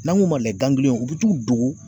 N'an ŋ'u ma u bu t'u dogo